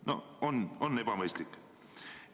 No on ebamõistlik!